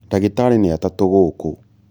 ndagĩtarĩ nĩ atatũ gũkũ